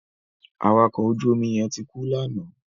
Awakọ̀ ojú omi yẹn ti kú lánàá.